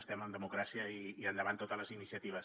estem en democràcia i endavant totes les iniciatives